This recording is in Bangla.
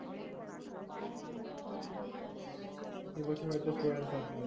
এবছর হয়তো আসব